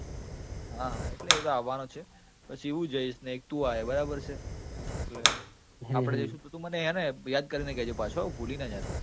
હા એટલે એ તો આવવાનો જ છે પછી હું જઈશ ને એક તું આયે બરાબર છે એટલે આપડે જઈશું તું મને હેને યાદ કરીને કે જે પાછો, ભૂલી ના જતો